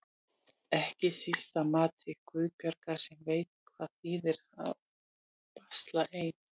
Ekki síst að mati Guðbjargar sem veit hvað það þýðir að basla ein.